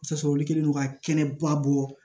Tasɔrɔ olu kɛlen don ka kɛnɛba bɔ